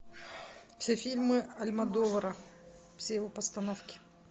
все фильмы альмодовара все его постановки